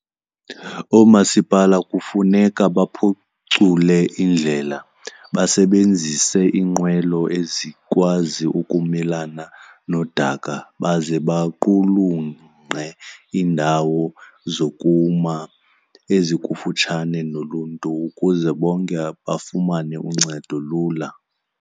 Oomasipala kufuneka baphucule indlela, basebenzise iinqwelo ezikwazi ukumelana nodaka baze baqulunqe iindawo zokuma ezikufutshane noluntu ukuze bonke bafumane uncedo lula.